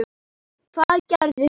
Hvað gerði hún?